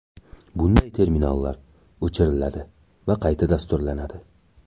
Bunday terminallar o‘chiriladi va qayta dasturlanadi.